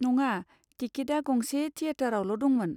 नङा, टिकेटआ गंसे थिएटारावल' दंमोन।